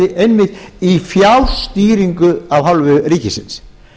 einmitt í fjárstýringu af hálfu ríkisins